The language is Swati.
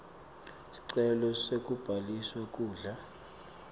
sicelo sekubhaliswa kudla